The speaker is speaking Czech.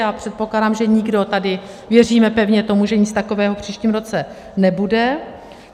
Já předpokládám, že nikdo tady, věříme pevně tomu, že nic takového v příštím roce nebude.